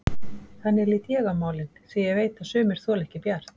Þannig lít ég á málin, því ég veit að sumir þola ekki Bjart.